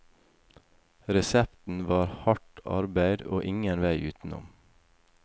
Resepten var hardt arbeid og ingen vei utenom.